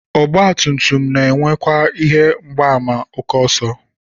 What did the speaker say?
Ọgbatumtum na-enwekwa ihe mgbaàmà ókè ọsọ